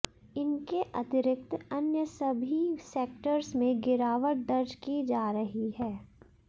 इनके अतिरिक्त अन्य सभी सेक्टर्स में गिरावट दर्ज की जा रही है